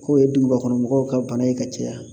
K'o ye duguba kɔnɔ mɔgɔw ka bana ye ka caya.